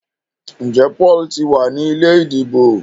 Njé Paul tí wá ní ilé ìdìbò?